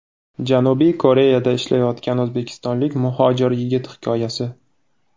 Janubiy Koreyada ishlayotgan o‘zbekistonlik muhojir yigit hikoyasi.